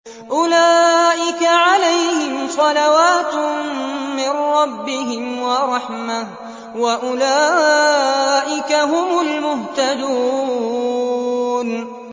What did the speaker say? أُولَٰئِكَ عَلَيْهِمْ صَلَوَاتٌ مِّن رَّبِّهِمْ وَرَحْمَةٌ ۖ وَأُولَٰئِكَ هُمُ الْمُهْتَدُونَ